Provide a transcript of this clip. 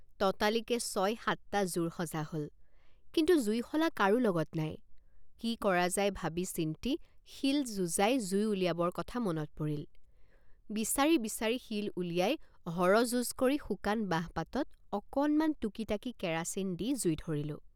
ততালিকে ছসত্তৰটা জোৰ সজা হল কিন্তু জুইশলা কাৰো লগত নাই কি কৰা যায় ভাবিচিন্তি শিল যুঁজাই জুই উলিয়াবৰ কথা মনত পৰিল বিচাৰি বিচাৰি শিল উলিয়াই হৰযুঁজ কৰি শুকান বাঁহপাতত অকণমান টুকিটাকি কেৰাচিন দি জুই ধৰিলোঁ।